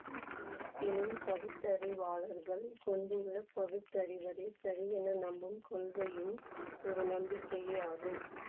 இருப்பினும் பகுத்தறிவாளர்கள் கொண்டுள்ள பகுத்து அறிவதே சரியென நம்பும் கொள்கையும் ஒரு நம்பிக்கையே ஆகும்